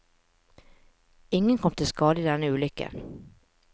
Ingen kom til skade i denne ulykken.